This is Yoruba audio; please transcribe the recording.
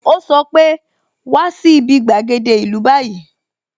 O sọ pe "wá sí bi gbàgede ìlú báyìí"